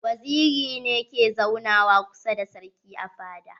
Waziri ne ke zauna wa kusa da sarki a fada.